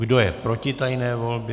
Kdo je proti tajné volbě?